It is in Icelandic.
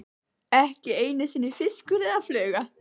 Ekki einu sinni fiskur eða fluga.